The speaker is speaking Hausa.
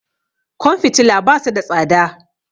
Kwan fitila basu da tsada